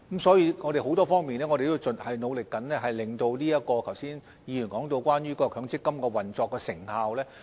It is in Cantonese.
所以，我們在很多方面都在努力中，令議員剛才所說關於強積金運作的成效，能比較上做得更好。